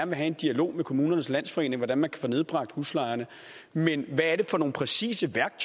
vil have en dialog med kommunernes landsforening om hvordan man kan få nedbragt huslejerne men hvad er det præcis